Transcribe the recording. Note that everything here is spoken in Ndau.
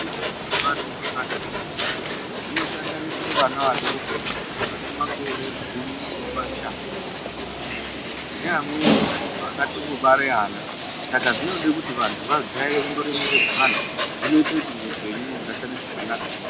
Zvikora zviri dera iyo zvevantu vakati kurei zvinosanganisira vana vadoko vane makore gumi nemashanu kukwira neamweni antu vakatombobara vana saka zvinode kuti vantu vajaire kundoremeredzana zvinoita kuti muupenyu mugarisane zvakanaka.